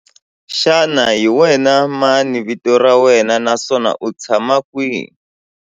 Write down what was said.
Xana hi wena mani vito ra wena naswona u tshama kwihi?